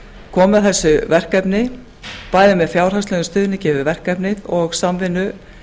koma að þessu verkefni bæði með fjárhagslegum stuðningi við verkefnið og samvinnu